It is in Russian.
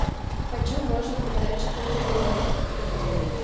почем можно продать четыре белорусских рублей